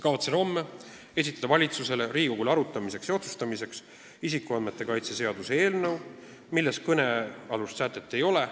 Kavatsen homme esitada valitsusele, Riigikogule arutamiseks ja otsustamiseks isikuandmete kaitse seaduse eelnõu, milles kõnealust sätet ei ole.